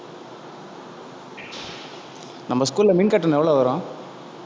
நம்ம school ல மின் கட்டணம் எவ்வளவு வரும்